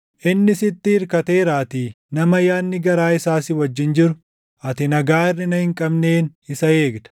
Inni sitti irkateeraatii, nama yaadni garaa isaa si wajjin jiru, ati nagaa hirʼina hin qabneen isa eegda.